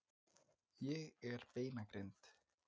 Ég er beinagrind.